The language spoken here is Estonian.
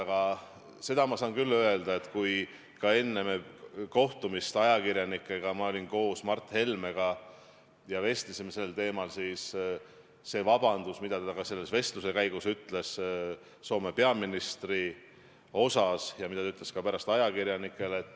Aga seda ma saan küll öelda, et kui enne kohtumist ajakirjanikega ma olin koos Mart Helmega ja me vestlesime sel teemal, siis ta ka selle vestluse käigus esitas Soome peaministrile vabanduse, mida ta ütles ka pärast ajakirjanikele.